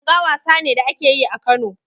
Langa wasa ne da ake yi a Kano.